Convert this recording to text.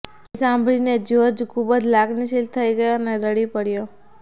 એ સાંભળીને જ્યોર્જ ખૂબ જ લાગણીશીલ થઈ ગયો અને રડી પડયો